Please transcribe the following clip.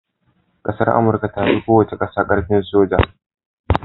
ƙasar amurka tafi kowace ƙasa karfin soji